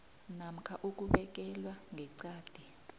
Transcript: namkha ukubekelwa ngeqadi